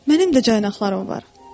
Mənim də caynaqlarım var.